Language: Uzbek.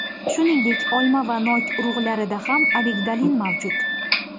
Shuningdek, olma va nok urug‘larida ham amigdalin mavjud.